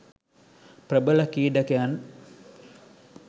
ප්‍රබල ක්‍රීඩකයන්